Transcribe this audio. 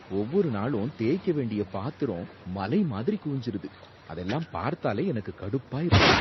ஒவ்வொரு நாளும் தேய்க்க வேண்டிய பாத்திரம் மலை மாதிரி குவிஞ்சுருது, அதெல்லாம் பார்த்தாலே எனக்கு கடுப்பா இருக்கு.